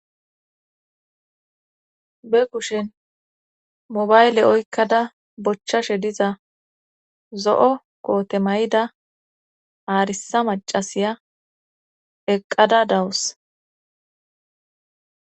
Be kushen mobayle oykkada bochchashe diza zo7o koote mayida haarisa macasiya eqqada dawus